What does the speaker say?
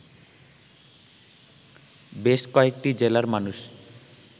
বেশ কয়েকটি জেলার মানুষ